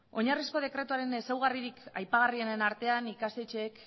oinarrizko dekretuaren ezaugarririk aipagarrienen artean ikastetxeek